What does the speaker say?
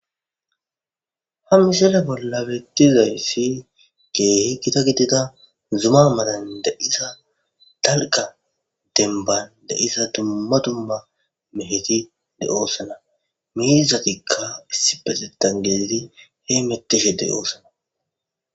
ha misale bolla bettizay si ge gita gidida zuma madan de7isa dalga denban de7isa dumba dumba meheti de7oosana miizatikka issi pezetan geidi he metishedey oosana